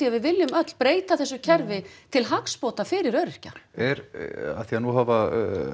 við viljum öll breyta þessu kerfi til hagsbóta fyrir öryrkja er af því að nú hafa